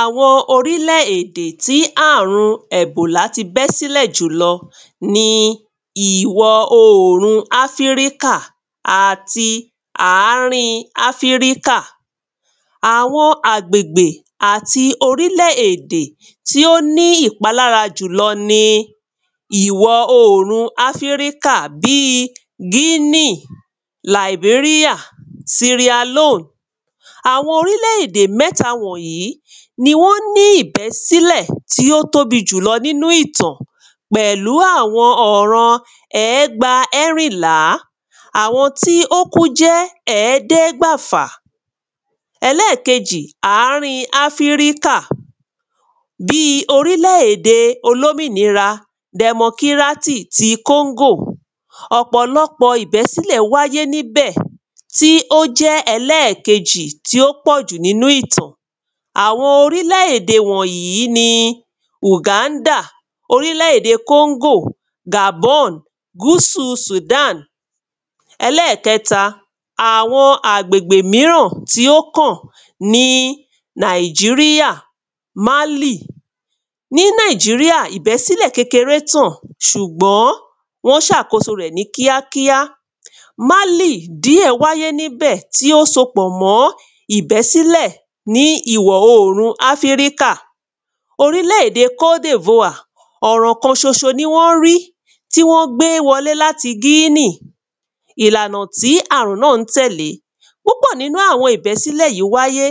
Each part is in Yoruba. Àwọn orílẹ̀ èdè tí àrun ẹ̀bọ̀là ti bẹ́ s'ílẹ̀ jùlọ ni ìwọ oòrun Áfíríkà àti àárín Áfíríkà Àwọn àgbègbè àti orílẹ̀ èdè Àwọn àgbègbè àti orílẹ̀ èdè tí ó ní ìpalára jùlọ ni ìwọ oòrun Áfíríkà bí i Guinea, Liberia, Sierra Leone. Àwọn orílẹ̀ èdè mwẹ́ta wọ̀nyí ni wọ́n ní ìbẹ́ s’ílẹ̀ tí ó tóbi jù lọ n’ínú ìtàn pẹ̀lú àwọn ọ̀rọ̀ ẹ̀ẹ́gba ẹ́rìnlá Àwọn tí ó kú jẹ́ ẹ̀ẹ́dẹ́gbàfà Ẹlẹ́kejì, àárín Áfíríkà Ẹlẹ́kejì, àárín Áfíríkà bí i orílẹ̀ èdè olómìnira dẹmokírátì ti Congo. Ọ̀pọ̀lọpọ̀ ìbẹ́sílẹ̀ wáyé n'íbẹ̀ tí ó jẹ́ ẹlẹ́kejì tí ó pọ̀ jù n'ínú ìtàn Àwọn orílẹ̀ èdè wọ̀nyí ni Uganda orílẹ̀ èdè Congo, Gabon, gúsù Sudan Ẹlẹ́kẹ́ta, àwọn agbègbè míràn tí ó kàn ni Nàìjíríà, Málì Ní Nàìjíríà ìbẹ́sílẹ̀ kékeré tàn ṣùgbọ́n wọ́n ṣàkóso rẹ̀ ní kíákíá. Málì díẹ̀ wáyé n’íbẹ̀ tí ó so pọ̀ mọ́ ìbẹ́sílẹ̀ ní ìwọ oòrun Áfíríkà. Orílẹ̀ èdè Cote d’Ivoire, ọ̀ràn kan ṣoṣo ní wọ́n rí tí wọ́n gbé wo ‘lé l'áti Guinea. Ìlànà tí àrùn náà ń tẹ̀lẹ́ Púpọ̀ n’ínú àwọn ìbẹ́sílẹ̀ yí wáyé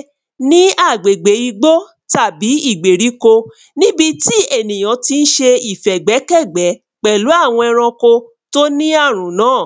ní àgbègbè igbó tàbí ìgbèríko N’íbi tí ènìyàn tí ń ṣe ìfẹ̀gbẹ́kẹ̀gbẹ́ pẹ̀lú àwọ ẹranko t’ó ní àrùn náà.